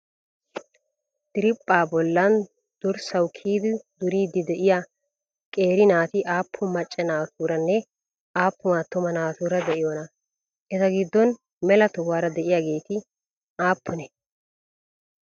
Diriiphaa bollan durssawu kiyidi duriiddi de'iyaa qeeri naati aappun maccaa naatuuranne aappun attuma naatuura d'iyoonaa? Eta giddon mela tohutaara de'iyaageeti aappunee?